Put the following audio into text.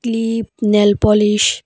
clip nail polish --